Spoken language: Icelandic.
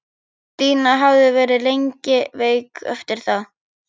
Ég velti mér á meltuna en án árangurs.